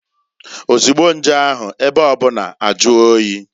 Ozugbo nje ahu, ebe obuna ejie oyi.